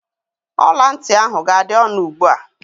Ọla ntị ahụ ga-adị ọnụ ugbu a